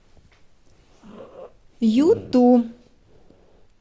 юту